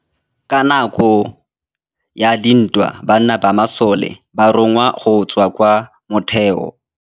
Ka nakô ya dintwa banna ba masole ba rongwa go tswa kwa mothêô.